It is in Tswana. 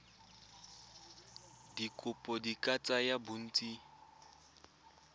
dikopo di ka tsaya bontsi